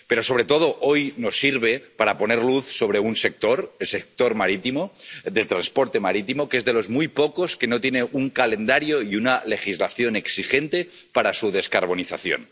Pero, sobre todo, el debate de hoy nos sirve para poner luz sobre un sector, el sector del transporte marítimo, que es de los muy pocos que no tiene un calendario y una legislación exigente para su descarbonización